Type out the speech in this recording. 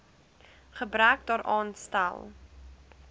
gebrek daaraan stel